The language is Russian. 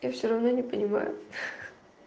я все равно не понимаю